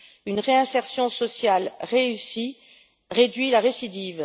Une réinsertion sociale réussie réduit la récidive.